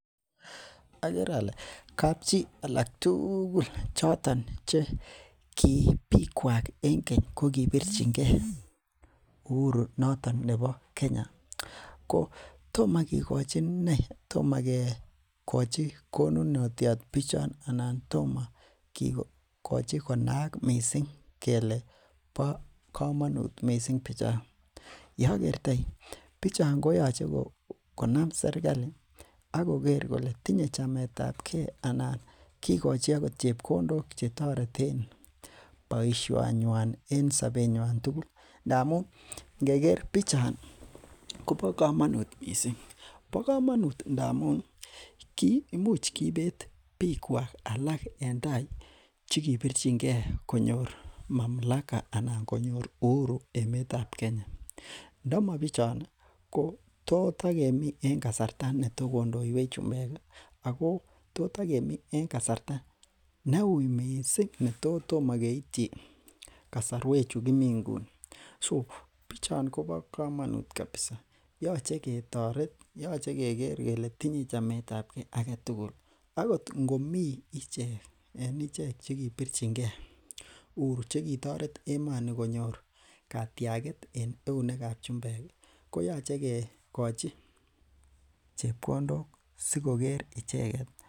Agere ale kapchi alak tugul choton che ki bik kuak en keny kokibirchinge uhuru noton nebo Kenya, tomakekochi inei toma kikochi konunotiat bichon anan tomakikochi kele bo komonuut missing bichon , yeakertai bichon koyache konam serkali akoker kole tinye chametabke ke anan kikochi agot chebkondok boisiet nyuan en sobet nyuan tugul ngamun ingeker bichon kobo kamanut missing bo komanut ndamuun imuch kiibet bikuak alak en tai chekibirchinke konyor mamlaka anan konyor uhuru emetab Kenya . Ndomo bichon ko tos takemi en kasarta netos tokondoiwech chumbek ih ako totakemii en kasarta neuui missing, netotoma keityi kasarwek chekimi kouni. so kobo kamanut kabisa .yoche ketoret , yoche keger kele tinye chametabke agetugul akot ingomi icheket chekibirchinke uhuru chekitoret emoni konyor katiaget en eunekab chumbek ih koyache kikochi chebkondok.